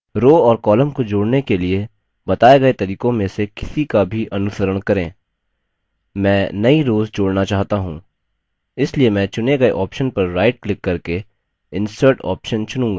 rows और columns को जोड़ने के लिए बताए गए तरीकों में से किसी का भी अनुसरण करें मैं नई रोव्स जोड़ना चाहता choose इसलिए मैं चुनें गए option पर right click करके insert option चुनूँगा